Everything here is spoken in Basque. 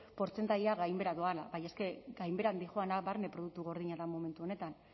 portzentajea gainbehera doala baina eske gainbehera doana barne produktu gordina da momentu honetan